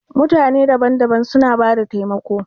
Mutane daban-daban suna bada taimako.